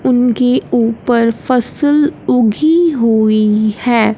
उनकी ऊपर फसल उगी हुई है।